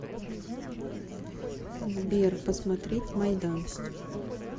сбер посмотреть майдан